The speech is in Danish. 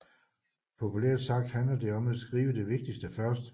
Populært sagt handler det om at skrive det vigtigste først